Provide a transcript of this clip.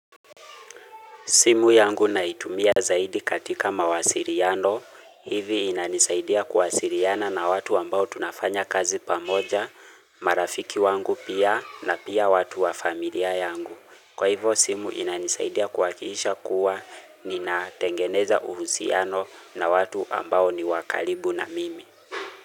Simu yangu naitumia zaidi katika mawasiliano, hivi inanisaidia kuwasiliana na watu ambao tunafanya kazi pamoja, marafiki wangu pia na pia watu wa familia yangu. Kwa hivo simu inanisaidia kuwakiisha kuwa nina tengeneza uhusiano na watu ambao ni wakaribu na mimi.